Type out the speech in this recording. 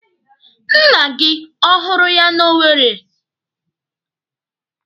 Nna gị ọ hụrụ ya n'Owere?